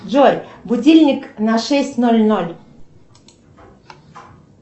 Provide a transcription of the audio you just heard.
джой будильник на шесть ноль ноль